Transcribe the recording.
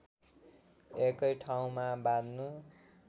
एकै ठाउँमा बाँध्नु